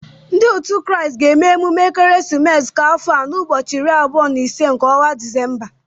Ndị òtu Kraịst ga-eme emume ekeresimesi nke afọ a n'ụbọchị iri abụọ na ise nke ọnwa Disemba